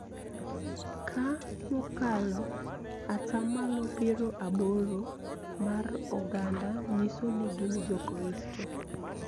Ka mokalo ata malo piero aboro mar oganda nyiso ni gin Jokristo.